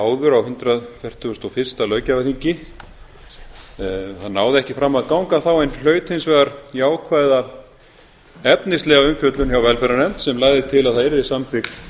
áður á hundrað fertugasta og fyrsta löggjafarþingi það náði ekki fram að ganga þá en hlaut hins vegar jákvæða efnislega umfjöllun hjá velferðarnefnd sem lagði til að það yrði samþykkt